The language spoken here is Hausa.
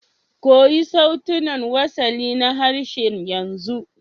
Koyi sautunan wasali na harshen yanzu